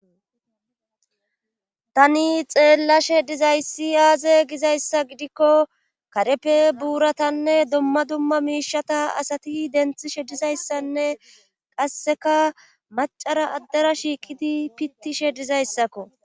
tani xeellashe dizayssi aaze gizayssa gidikko karepe buuratanne dumma dumma miishata asati denthi shedizayssanne qasseka macara addera shiikidi pittishe dizayssakko